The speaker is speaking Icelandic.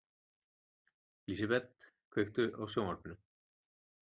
Lísebet, kveiktu á sjónvarpinu.